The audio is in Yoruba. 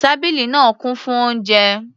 Tábìlì náà kún fún oúnjẹ.